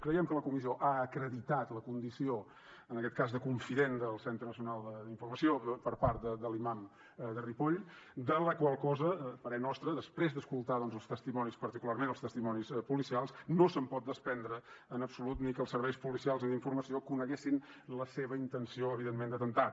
creiem que la comissió ha acreditat la condició en aquest cas de confident del centre nacional d’informació per part de l’imam de ripoll de la qual cosa a parer nostre després d’escoltar doncs els testimonis particularment els testimonis policials no se’n pot desprendre en absolut ni que els serveis policials ni els d’informació coneguessin la seva intenció evidentment d’atemptar